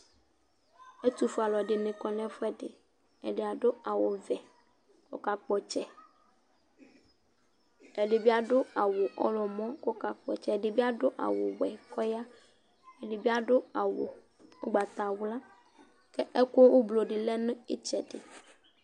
ɛtu fue alɔdinɩ kɔ nɛ fuɛ dɩ, ɛdɩadʊ awʊ ʋɛ ɔkakpotsɛ Ɛdɩ bi adʊ awʊ ɔwlɔmɔ ɔkakpɔtsɛ, Ɛdɩ bi adʊ awʊ wɛ kɔya, Ɛdɩ bi adʊ awʊ ʊgbatawla kɛ ɛkʊ ʊblʊdɩ lɛnʊ ɩtsɛdɩ